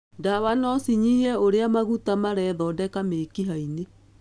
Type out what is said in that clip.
Ndawa no cinyihie ũrĩa maguta marethondeka mĩkiha-inĩ.